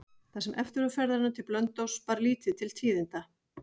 Það sem eftir var ferðarinnar til Blönduóss bar lítið til tíðinda.